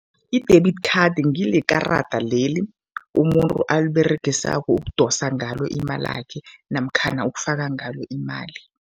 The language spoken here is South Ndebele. I-debit card ngilekarada leli umuntu aliberegisako ukudosa ngalo imalakhe namkhana ukufaka ngalo imali.